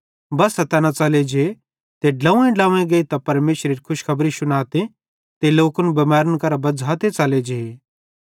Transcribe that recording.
बस्सा तैना च़ले जे ते ड्लोव्वेंड्लोव्वें गेइतां परमेशरेरी खुशखबरी शुनाते ते लोकन बिमैरन करां बज़्झ़ाते च़ले जे